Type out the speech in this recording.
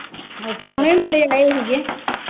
ਪ੍ਰਾਹੁਣੇ ਹੀ ਬੜੇ ਆਏ ਹੀ ਗੇ।